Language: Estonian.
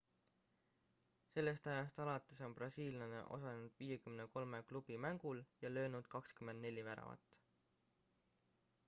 sellest ajast alates on brasiillane osalenud 53 klubi mängul ja löönud 24 väravat